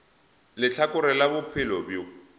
le lehlakore la bophelo bjo